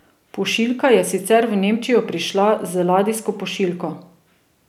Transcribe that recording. Pošiljka je sicer v Nemčijo prišla z ladijsko pošiljko.